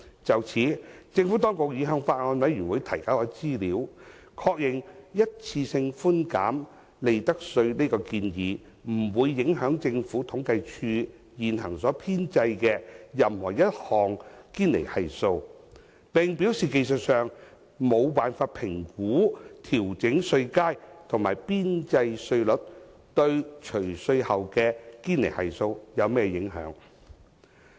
就此，政府當局已向法案委員會提交資料，確認一次性寬減利得稅這建議不會影響政府統計處現行所編製的任何一項堅尼系數，並表示技術上無法評估調整稅階和邊際稅率對除稅後的堅尼系數有何影響。